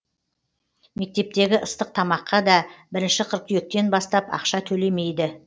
мектептегі ыстық тамаққа да бірінші қыркүйектен бастап ақша төлемейді